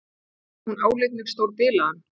Hún áleit mig stórbilaðan.